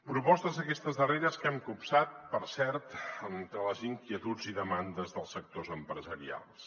propostes aquestes darreres que hem copsat per cert entre les inquietuds i demandes dels sectors empresarials